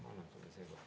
Aitäh!